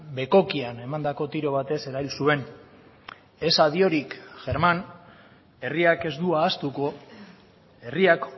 bekokian emandako tiro batez erail zuen ez adiorik germán herriak ez du ahaztuko herriak